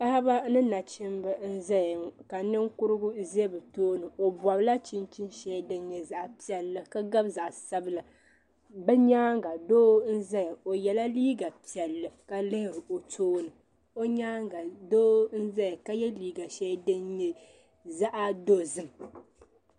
Paɣaba ni nachimba n zaya ŋɔ ka ninkurugu za bɛ tooni o gɔbila chinchini shɛli din nyɛ zaɣi piɛlli ka gabi zaɣi sabila bɛ nyaaŋa doo n zaya o yɛla liiga piɛlli ka lihiri o tooni o nyaaŋa doo zaya ka jɛ liiga shɛli din nyɛ zaɣi dɔzim.